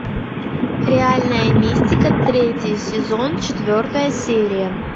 реальная мистика третий сезон четвертая серия